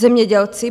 Zemědělci.